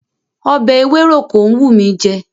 Ọbẹ̀ ewéròkó ń wùn mí jẹ.